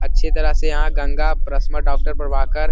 अच्छी तरह से यहाँ गंगा डॉक्टर प्रभाकर --